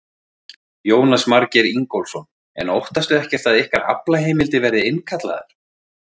Jónas Margeir Ingólfsson: En óttastu ekkert að ykkar aflaheimildir verði innkallaðar?